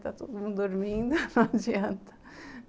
Está todo mundo dormindo, não adianta.